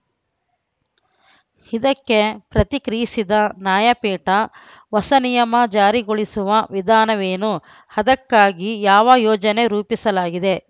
ಇದಕ್ಕೆ ಪ್ರತಿಕ್ರಿಯಿಸಿದ ನ್ಯಾಯಪೀಠ ಹೊಸ ನಿಯಮ ಜಾರಿಗೊಳಿಸುವ ವಿಧಾನವೇನು ಅದಕ್ಕಾಗಿ ಯಾವ ಯೋಜನೆ ರೂಪಿಸಲಾಗಿದೆ